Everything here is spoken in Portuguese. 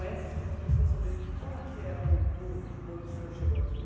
para as pessoas saberem, como que era Mutum quando o senhor chegou aqui?